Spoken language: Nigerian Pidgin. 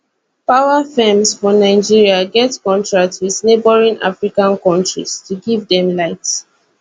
power firms for nigeria get contracts wit neighbouring african kontris to give dem light